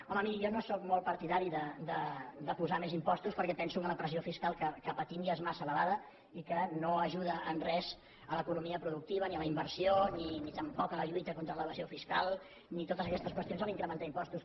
home miri jo no sóc molt partidari de posar més impostos perquè penso que la pressió fiscal que patim ja és massa elevada i que no ajuda en res a l’economia productiva ni a la inversió ni tampoc a la lluita contra l’evasió fiscal ni totes aquestes qüestions a l’incrementar impostos